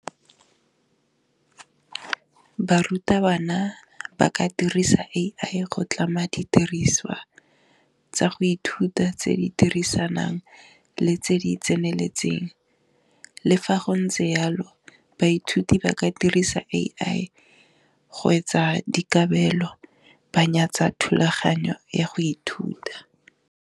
Barutabana ba ka dirisa A_I go tlama didiriswa tsa go ithuta tse di dirisanang le tse di tseneletseng le fa go ntse jalo, baithuti ba ka dirisa A_I go etsa dikabelo ba nyatsa thulaganyo ya go ithuta.